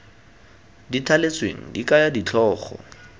di thaletsweng di kaya ditlhogo